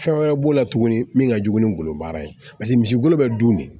Fɛn wɛrɛ b'o la tuguni min ka jugu ni golobaara ye paseke misi golo bɛ dun de